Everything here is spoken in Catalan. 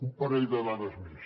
un parell de dades més